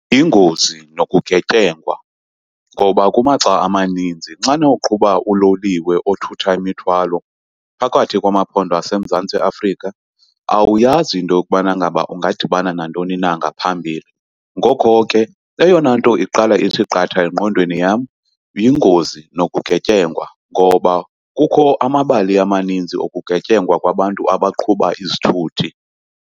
Yingozi nokugetyengwa, ngoba kumaxa amaninzi xana uqhuba uloliwe othutha imithwalo phakathi kwamaphondo aseMzantsi Afrika awuyazi into yokubana ngaba ungadibana nantoni na ngaphambili. Ngoko ke eyona nto iqala ithi qatha engqondweni yam yingozi nokugetyengwa, ngoba kukho amabali amaninzi okugetyengwa kwabantu abaqhuba izithuthi.